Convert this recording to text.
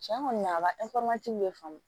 Tiɲɛ kɔni a ka